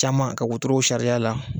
Caman ka wotorow sars'a la